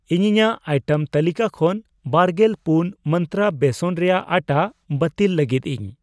ᱤᱧ ᱤᱧᱟᱜ ᱟᱭᱴᱮᱢ ᱛᱟᱹᱞᱤᱠᱟ ᱠᱷᱚᱱ ᱵᱟᱨᱜᱮᱞ ᱯᱩᱱ ᱢᱟᱱᱛᱨᱟ ᱵᱮᱥᱚᱱ ᱨᱮᱭᱟᱜ ᱟᱴᱷᱟ ᱵᱟᱹᱛᱤᱞ ᱞᱟᱹᱜᱤᱫ ᱤᱧ ᱾